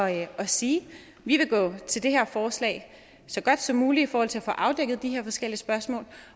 at sige vi vil gå til det her forslag så godt som muligt i forhold til at få afdækket de her forskellige spørgsmål